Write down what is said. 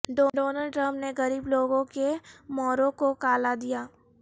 Donald Trump نے غریب لوگوں کے موروں کو کالا دیا